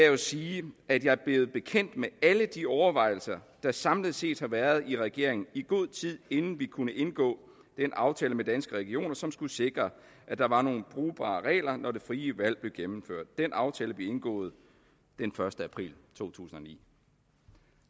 jo sige at jeg er blevet bekendt med alle de overvejelser der samlet set har været i regeringen i god tid inden vi kunne indgå den aftale med danske regioner som skulle sikre at der var nogle brugbare regler når det frie valg blev genindført den aftale blev indgået den første april to tusind og ni